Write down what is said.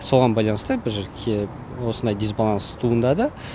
соған байланысты біз осындай дисбаланс туындады